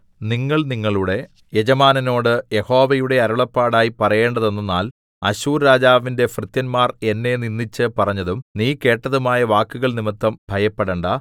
നിങ്ങൾ നിങ്ങളുടെ യജമാനനോട് യഹോവയുടെ അരുളപ്പാടായി പറയേണ്ടതെന്തെന്നാൽ അശ്ശൂർരാജാവിന്റെ ഭൃത്യന്മാർ എന്നെ നിന്ദിച്ച് പറഞ്ഞതും നീ കേട്ടതുമായ വാക്കുകൾനിമിത്തം ഭയപ്പെടേണ്ടാ